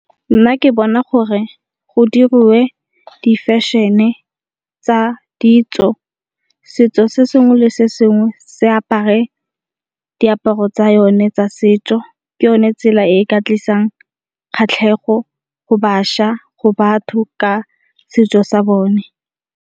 Nna ke bona gore go diriwe di fashion-e tsa ditso. Setso se sengwe le se sengwe se apare diaparo tsa yone tsa setso ke yone tsela e e ka tlisang kgatlhego go bašwa, go batho ka setso sa bone.